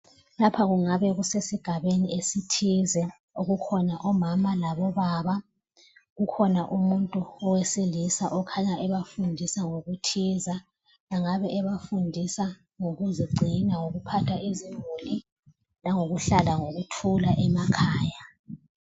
Lapha kungabe kusesigabeni esithize. Kukhona omama labobaba, kukhona umuntu owesilisa okhanya ebafundisa ngokuthize. Engabe ebafundisa ngokuzigcina, ngokuphatha izimuli langokuhlala ngokuthula emakhaya.